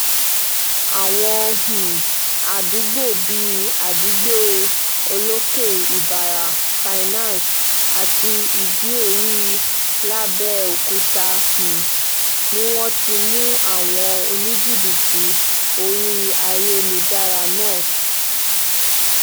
àwọn um àdúgbò bíi adigbe olókè ìbára finance àti ìdí-orí làbẹ́ọ́kútà um ni wọ́n ti mú àwọn oníjìbìtì orí ayélujára náà